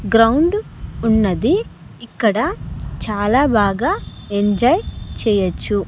Ground ఉన్నది ఇక్కడ చాలా బాగా ఎంజాయ్ చేయొచ్చు.